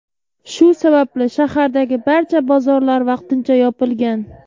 Shu sababli shahardagi barcha bozorlar vaqtincha yopilgan.